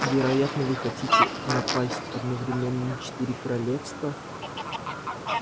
вероятно вы хотите напасть одновременно на четыре королевстра